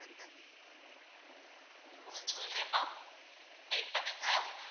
நான் சொல்றேன் மா wait பண்ணுங்க.